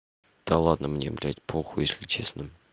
да ладно мне блять похуй если честно